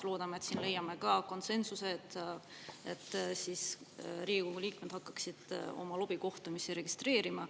Loodame, et siin leiame konsensuse, et Riigikogu liikmed hakkaksid oma lobikohtumisi registreerima.